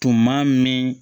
Tuma min